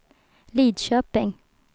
Lidköping